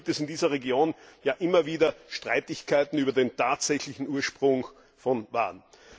Immerhin gibt es in dieser Region immer wieder Streitigkeiten über den tatsächlichen Ursprung von Waren.